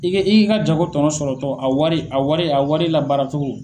I ka i ka jago tɔnɔ sɔrɔtɔ a wari a wari a wari labaaracogo.